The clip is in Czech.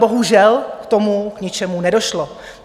Bohužel k tomu k ničemu nedošlo.